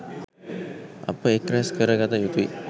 අප එක් රැස් කර ගත යුතුයි.